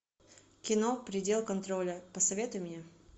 кино предел контроля посоветуй мне